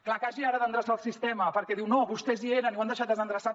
clar que hagi ara d’endreçar el sistema perquè diu no vostès hi eren i ho han deixat desendreçat